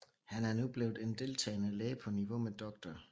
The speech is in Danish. Han er nu blevet en deltagende læge på niveau med Dr